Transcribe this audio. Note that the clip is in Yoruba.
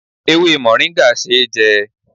Ewé moringa ṣé jẹ